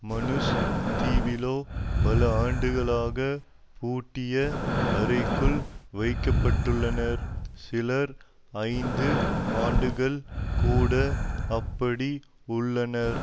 Manus தீவிலோ பல ஆண்டுகளாக பூட்டிய அறைக்குள் வைக்க பட்டுள்ளனர் சிலர் ஐந்து ஆண்டுகள் கூட அப்படி உள்ளனர்